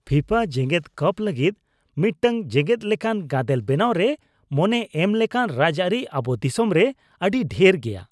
FIFA ᱡᱮᱜᱮᱫ ᱠᱟᱯ ᱞᱟᱹᱜᱤᱫ ᱢᱤᱫᱴᱟᱝ ᱡᱮᱜᱮᱫ ᱞᱮᱠᱟᱱ ᱜᱟᱫᱮᱞ ᱵᱮᱱᱟᱣ ᱨᱮ ᱢᱚᱱᱮ ᱮᱢ ᱞᱮᱠᱟᱱ ᱨᱟᱡᱽᱟᱹᱨᱤ ᱟᱵᱚ ᱫᱤᱥᱚᱢ ᱨᱮ ᱟᱹᱰᱤ ᱰᱷᱮᱨ ᱜᱮᱭᱟ ᱾